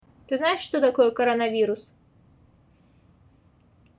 ты знаешь что такое коронавирус